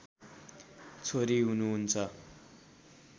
छोरी हुनुहुन्छ